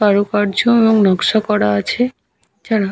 কারুকার্য এবং নকশা করা আছে। যারা --